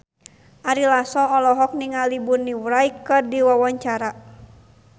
Ari Lasso olohok ningali Bonnie Wright keur diwawancara